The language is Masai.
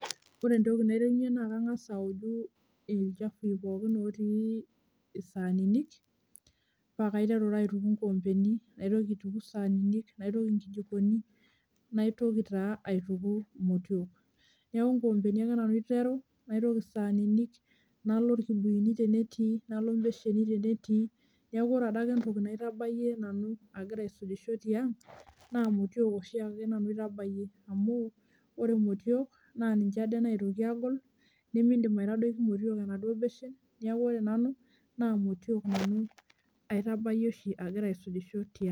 Ore entoki naiterunye naa kangas aoju ilchafui pookin otii isaanini, paa kaiteru taa aituku inkoombeni, naitoki aituku isaanini, naitoki inkijikoni, naitoki taa aituku imotiok. Neeku inkoombeni ake nanu aiteru, naitoki isaanini, nalo ilkibuyuni tenetii, nalo embesheni tenetii neeku ore adake entoki naitabayie nanu agira aisujisho tiang' naa imotiak oshiake nanu aitabayie. Amu ore imotiok naa ninje ade naitoki aagol nimiidim aitodoki imotiak enaduo beshen, neeku ore nanu naa imotiok nanu aitabayie oshiake agira aisujisho tiang'.